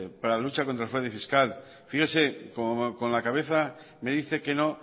para la lucha contra el fraude fiscal fíjese con la cabeza me dice que no